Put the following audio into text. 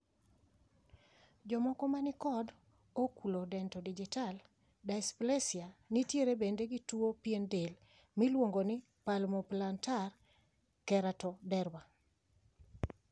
Jokmoko manikod oculodentodigital dysplasia nitiere bende gi tuo piend del miluongo ni palmoplantar keratoderma.